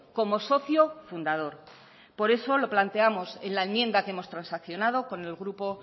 como socio fundador por eso lo planteamos en la enmienda que hemos transaccionado con el grupo